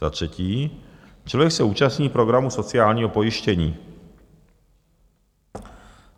Za třetí, člověk se účastní programu sociálního pojištění.